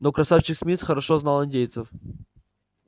но красавчик смит хорошо знал индейцев